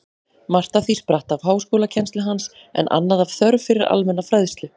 Margt af því spratt af háskólakennslu hans, en annað af þörf fyrir almenna fræðslu.